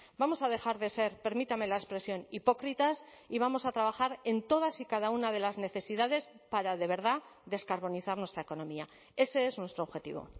vamos a dejar de ser permítame la expresión hipócritas y vamos a trabajar en todas y cada una de las necesidades para de verdad descarbonizar nuestra economía ese es nuestro objetivo